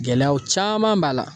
Gɛlɛyaw caaman b'a la.